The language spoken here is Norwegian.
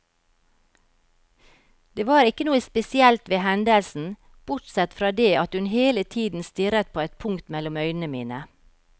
Det var ikke noe spesielt ved hendelsen, bortsett fra det at hun hele tiden stirret på et punkt mellom øynene mine.